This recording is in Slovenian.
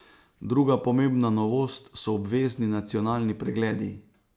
Druga pomembna novost so obvezni nacionalni pregledi.